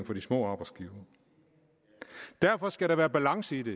små arbejdsgivere derfor skal der være balance i det